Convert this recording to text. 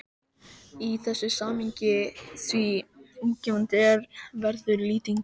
í þessu samhengi, því útgefandi er og verður Lýtingur